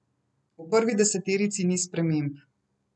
V prvi deseterici ni sprememb.